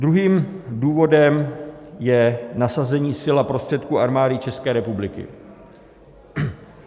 Druhým důvodem je nasazení sil a prostředků Armády České republiky.